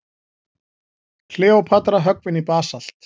Kleópatra höggvin í basalt.